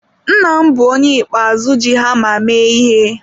Nna m bụ onye ikpeazụ ji hama mee ihe.